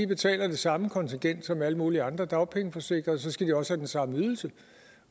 betaler det samme i kontingent som alle mulige andre dagpengeforsikrede og så skal de også have den samme ydelse